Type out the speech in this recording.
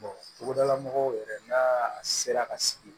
togodala mɔgɔw yɛrɛ n'a sera ka sigi